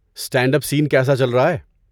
Stand up scene کیسا چل رہا ہے؟